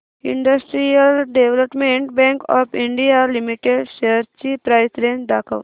industrial Development Bank of India Limited shares ची price range दाखव